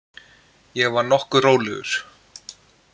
Ég var nokkuð rólegur.